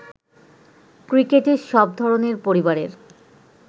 ক্রিকেটে সব ধরনের পরিবারের